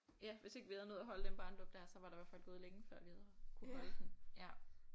Ja hvis ikke vi havde nået at holde den barnedåb dér så var der i hvert fald gået længe før vi havde kunne holde den ja